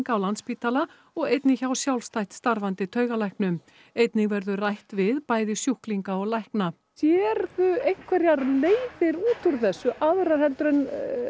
á Landspítala og einnig hjá sjálfstætt starfandi taugalæknum einnig verður rætt við bæði sjúklinga og lækna sérðu einhverjar leiðir út úr þessu aðrar en